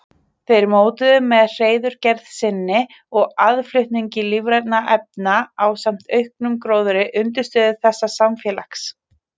Þeir mótuðu með hreiðurgerð sinni og aðflutningi lífrænna efna ásamt auknum gróðri undirstöðu þessa samfélags.